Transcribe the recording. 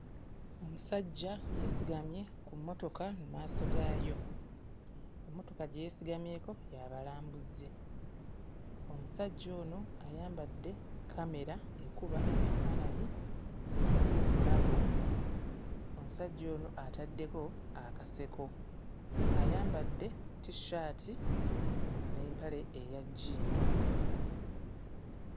Omusajja yeesigamye ku mmotoka mu maaso gaayo, emmotoka gye yeesigamyeko y'abalambuzi, omusajja ono ayambadde kkamera ekuba ebifaananyi mu bulago. Omusajja ono ataddeko akaseko, ayambadde t-shirt n'empale eya jjiini.